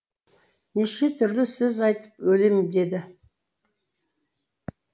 неше түрлі сөз айтып өлем деді